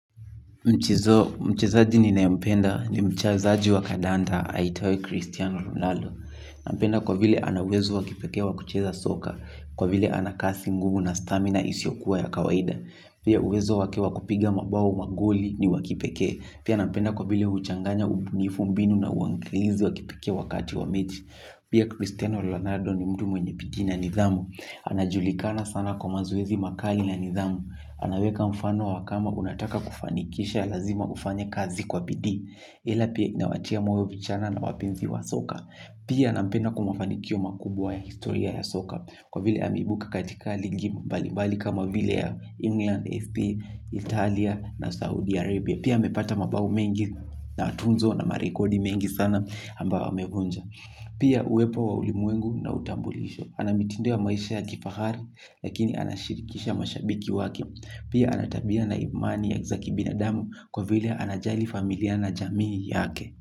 Mchezaji ninaempenda ni mchezaji wa Kadanda, aitwaye Cristiano Ronaldo. Nampenda kwa vile ana uwezo wa kipekee wa kucheza soka, kwa vile ana kasi ngumu na stamina isiyokuwa ya kawaida. Pia uwezo wake wa kupiga mabao magoli ni wa kipekee. Pia nampenda kwa vile huchanganya ubunifu mbinu na uangalizi wa kipekee wakati wa mechi. Pia Cristiano Ronaldo ni mtu mwenye bidii na nidhamu. Anajulikana sana kwa mazoezi makali na nidhamu. Anaweka mfano wa kama unataka kufanikisha lazima ufanye kazi kwa bidii. Ila pia inawatia moyo vijana na wapenzi wa soka. Pia nampenda kwa mafanikio makubwa ya historia ya soka. Kwa vile ameibuka katika ligi mbali mbali kama vile ya England, SP, Italia na Saudi Arabia Pia amepata mabao mengi na tuzo na marekodi mengi sana ambayo amevunja. Pia uwepo wa ulimwengu na utambulisho ana mitindo ya maisha ya kifahari. Lakini anashirikisha mashabiki wake. Pia ana tabia na imani za kibinadamu. Kwa vile anajali familia na jamii yake.